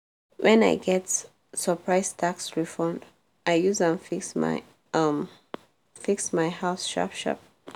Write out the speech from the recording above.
when i get surprise tax refund i use am fix my am fix my house sharp-sharp.